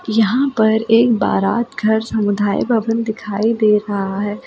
यहाँ पर एक बारात घर समुदाय भवन दिखाई दे रहा है जो।